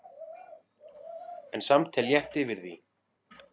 En samt er létt yfir því.